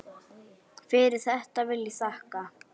Fyrir þetta vil ég þakka.